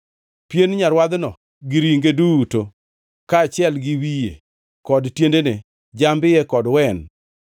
Pien nyarwadhno gi ringe duto, kaachiel gi wiye kod tiendene, jamb-iye kod wen,